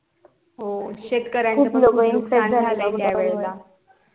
हो शेतकऱ्याचं नुस्कान झालेलं त्या वेळेला